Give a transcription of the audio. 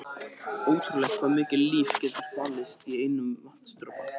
Ótrúlegt hvað mikið líf getur falist í einum vatnsdropa.